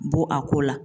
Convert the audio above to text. Bɔ a ko la